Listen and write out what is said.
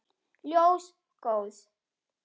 Ljós góðs.